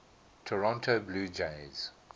toronto blue jays